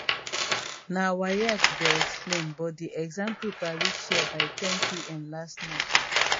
na waec go explain but di exam paper reach here by 10pm last night